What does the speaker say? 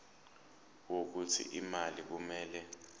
wokuthi imali kumele